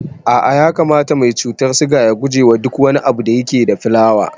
A'a ya kamata mai cutar siga ya gujewa duk abinda yake da fulawa